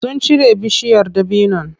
Sun cire bishiyar dabinon.